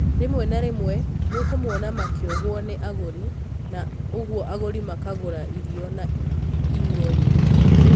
Rĩmwe na rĩmwe nĩũkũmona makĩuhuo ni agũri, na ũguo agũri makagũra irio na inyuo nyingĩ.